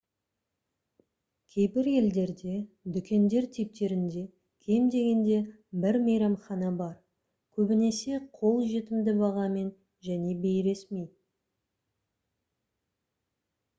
кейбір елдерде дүкендер типтерінде кем дегенде бір мейрамхана бар көбінесе қол жетімді бағамен және бейресми